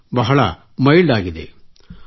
ಅದು ಬಹಳ ಮೈಲ್ಡ್ ಆಗಿದೆ